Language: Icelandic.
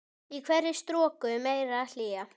Í hverri stroku meiri hlýja.